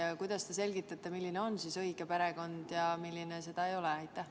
Ja kuidas te selgitate, milline on õige perekond ja milline seda ei ole?